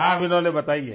हाँ विनोले बताइए